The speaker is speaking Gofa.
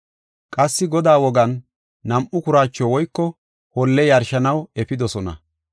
Qassi Godaa wogan, nam7u kuraacho woyko holle yarshanaw efidosona.